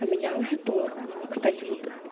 а меня уже торкнуло кстати вот